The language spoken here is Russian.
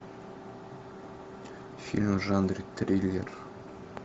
фильм в жанре триллер